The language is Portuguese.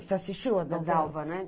Você assistiu a novela?